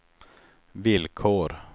villkor